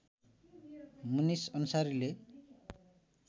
मुनिस अन्सारीले